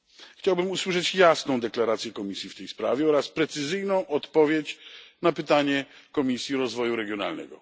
Chciałbym usłyszeć jasną deklarację Komisji w tej sprawie oraz precyzyjną odpowiedź na pytanie Komisji Rozwoju Regionalnego.